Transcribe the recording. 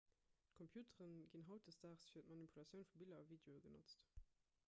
computere ginn hautdesdaags fir d'manipulatioun vu biller a videoen genotzt